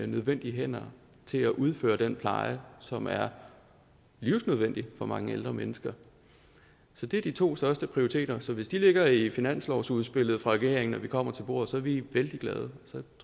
nødvendige hænder til at udføre den pleje som er livsnødvendig for mange ældre mennesker så det er de to største prioriteter så hvis de ligger i finanslovsudspillet fra regeringen når vi kommer til bordet så er vi vældig glade